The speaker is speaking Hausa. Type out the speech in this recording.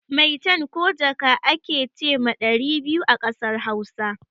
Maitan ko jaka a ke ce ma ɗari biyu a ƙasar Hausa.